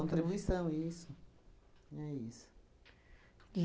Contribuição, isso. É isso.